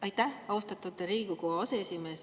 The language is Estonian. Aitäh, austatud Riigikogu aseesimees!